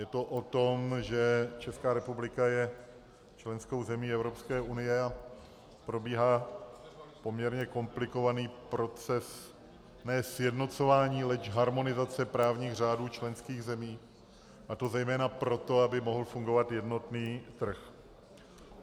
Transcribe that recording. Je to o tom, že Česká republika je členskou zemí Evropské unie a probíhá poměrně komplikovaný proces ne sjednocování, leč harmonizace právních řádů členských zemí, a to zejména proto, aby mohl fungovat jednotný trh.